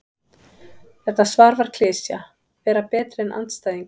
Þetta svar var klisja: Vera betri en andstæðingurinn.